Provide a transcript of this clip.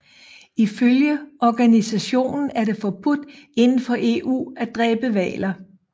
Ifølge organisationen er det forbudt indenfor EU at dræbe hvaler